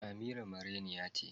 Amira marainiya ce